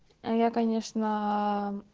я конечно